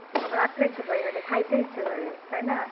আমরা রাখতে পারি না। খাইতে ইচ্ছা করে তাই না ।